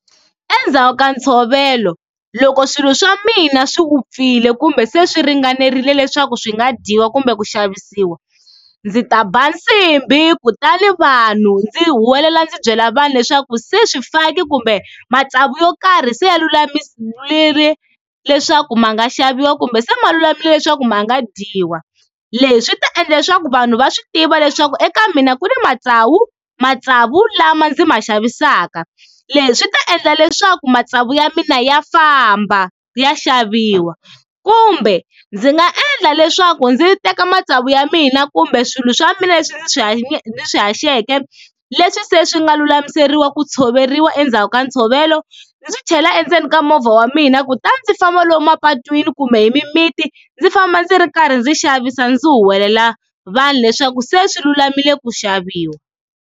Endzhaku ka ntshovelo loko swilo swa mina swi vupfile kumbe se swi ringanerile leswaku swi nga dyiwa kumbe ku xavisiwa, ndzi ta ba nsimbhi kutani vanhu ndzi huwelela ndzi byela vanhu leswaku se swifaki kumbe matsavu yo karhi se ya leswaku ma nga xaviwa kumbe se ma lulamile leswaku ma nga dyiwa, leswi swi ta endla leswaku vanhu va swi tiva leswaku eka mina ku ni matsavu, matsavu lama ndzi ma xavisaka leswi swi ta endla leswaku matsavu ya mina ya famba ya xaviwa kumbe ndzi nga endla leswaku ndzi teka matsavu ya mina kumbe swilo swa mina leswi ndzi swi swi haxeke leswi se swi nga lulamisiwa ku tshoveriwa endzhaku ka ntshovelo, ndzi chela endzeni ka movha wa mina kutani ndzi famba lomu mapatwini kumbe hi mimiti ndzi famba ndzi ri karhi ndzi xavisa ndzi huwelela vanhu leswaku se swi lulamile ku xaviwa.